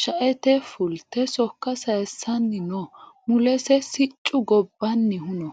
shaete fulte sokka sayiissanni no mulese siccu gobbannihu no